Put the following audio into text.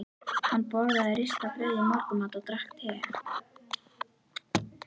Hann borðaði ristað brauð í morgunmat og drakk te.